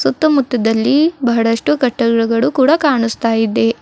ಸುತ್ತುಮುತ್ತದಲ್ಲಿ ಬಹಳಷ್ಟು ಕಟ್ಟಡಗಳು ಕಾಣಿಸ್ತಾ ಇದೆ.